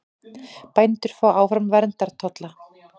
Bændur fái áfram verndartolla